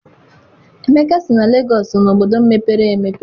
Emeka sị na Lagos so na obodo mepere emepe.